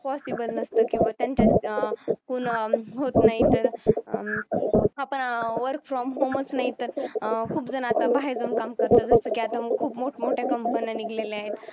possible नसतं किंवा त्यांच्या अं पूर्ण होतो नाहीतर अं आता work from home नाही तर अं खूप जण बाहेर जाऊन काम करतात जसं की आता खूप मोठ मोठ्या company नी गेलेले आहेत